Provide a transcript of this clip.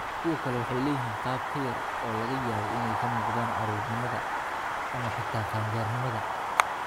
Kuwo kale waxay leeyihiin qaab ka yar oo laga yaabo inay ka muuqdaan caruurnimada, carruurnimada, ama xitaa qaangaarnimada.